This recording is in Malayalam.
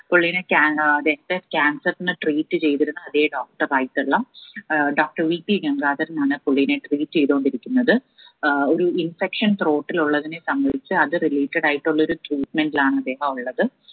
പുലാലിനെ കാൻ ഏർ രക്ത cancer നെ treat ചെയ്തിരുന്ന അതാ doctor ആയിട്ടുള്ള ഏർ doctorVP ഗംഗാധരൻ ആണ് പുള്ളിനെ treat ചെയ്തോണ്ടിരിക്കുന്നത്. ഏർ ഒരു infection throat ൽ ഉള്ളതിനെ സംബന്ധിച്ച് അത് related ആയിട്ടുള്ളൊരു treatment ലാണ് അദ്ദേഹം ഉള്ളത്